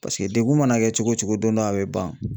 Paseke degun mana kɛ cogo cogo don dɔ a bɛ ban.